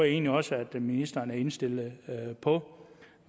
egentlig også at ministeren er indstillet på